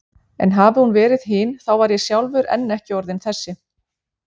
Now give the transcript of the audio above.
En hafi hún verið hin þá var ég sjálfur enn ekki orðinn þessi.